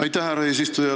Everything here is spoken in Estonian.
Aitäh, härra eesistuja!